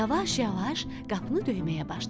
Yavaş-yavaş qapını döyməyə başladı.